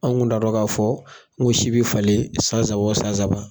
Anw kun t'a dɔn k'a fɔ ŋ'o si be falen san saba o san saba.